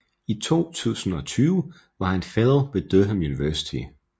I 2020 var han fellow ved Durham University